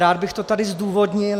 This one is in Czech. Rád bych to tady zdůvodnil.